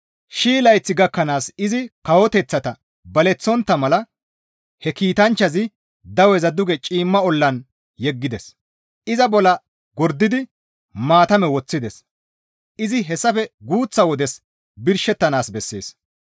Shii layth gakkanaas izi kawoteththata baleththontta mala he kiitanchchazi daweza duge ciimma ollan yeggides; iza bolla gordidi maatame woththides; izi hessafe guuththa wodes birshettanaas bessees.